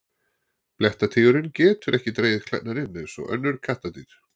Blettatígurinn getur ekki dregið klærnar inn eins og önnur kattardýr.